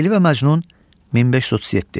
Leyli və Məcnun 1537.